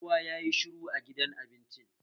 Kowa yayi shiru a gidan abincin